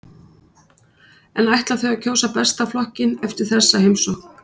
En ætla þau að kjósa Besta flokkinn eftir þessa heimsókn?